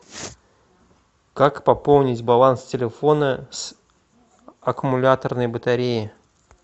как пополнить баланс телефона с аккумуляторной батареи